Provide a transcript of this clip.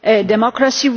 democracy.